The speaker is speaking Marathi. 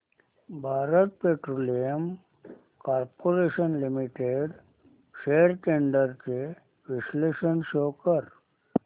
Bharat Petroleum Corporation Limited shares trends चे विश्लेषण शो कर